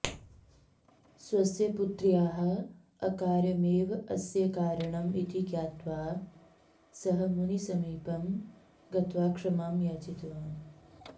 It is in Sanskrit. स्वस्य पुत्र्याः अकार्यमेव अस्य कारणम् इति ज्ञात्वा सः मुनिसमीपं गत्वा क्षमां याचितवान्